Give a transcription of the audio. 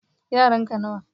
yaran ka nawa